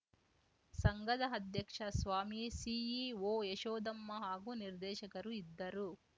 ಸಂಘದ ಅಧ್ಯಕ್ಷ ಸ್ವಾಮಿ ಸಿಇಒ ಯಶೋಧಮ್ಮ ಹಾಗೂ ನಿರ್ದೇಶಕರು ಇದ್ದರು